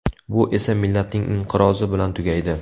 Bu esa millatning inqirozi bilan tugaydi.